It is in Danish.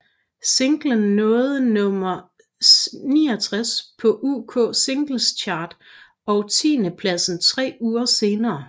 Singlen nåede nummer 69 på UK Singles Chart og tiendepladsen tre uger senere